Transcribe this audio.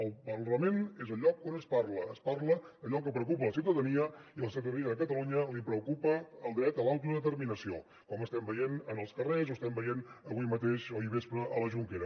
el parlament és el lloc on es parla es parla allò que preocupa a la ciutadania i a la ciutadania de catalunya li preocupa el dret a l’autodeterminació com estem veient en els carrers o estem veient avui mateix o ahir al vespre a la jonquera